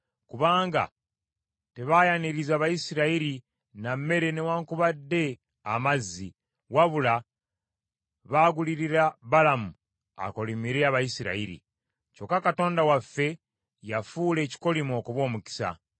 kubanga tebaayaniriza Bayisirayiri na mmere newaakubadde amazzi, wabula baagulirira Balamu akolimire Abayisirayiri. Kyokka Katonda waffe yafuula ekikolimo okuba omukisa.